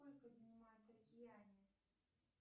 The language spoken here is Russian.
сколько занимает океане